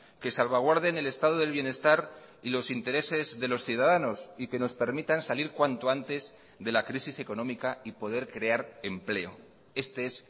que salvaguarden el estado del bienestar y los intereses de los ciudadanos y que nos permitan salir cuanto antes de la crisis económica y poder crear empleo este es